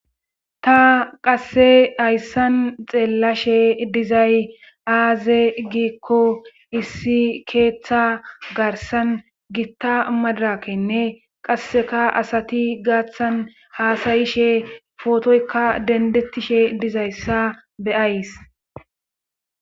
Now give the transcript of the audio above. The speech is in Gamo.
ta qasse hayssan xeellashe dizay aaze giikko issi keeththa garsan gitta madrakenne qasseka asati gaaththan haasayishe pootoykka dendettishe dizayssa beyays